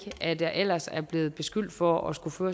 at jeg ellers er blevet beskyldt for at skulle føre